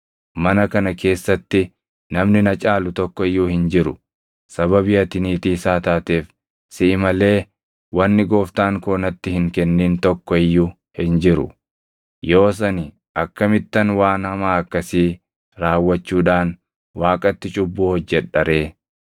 Mana kana keessatti namni na caalu tokko iyyuu hin jiru. Sababii ati niitii isaa taateef siʼi malee wanni gooftaan koo natti hin kennin tokko iyyuu hin jiru. Yoos ani akkamittan waan hamaa akkasii raawwachuudhaan Waaqatti cubbuu hojjedha ree?”